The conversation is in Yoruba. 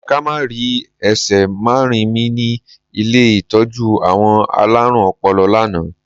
Ká má ri! Ẹ ṣe máa rí mi ni ilé ìtọ́jú àwọn alárùn ọpọlọ lánàá.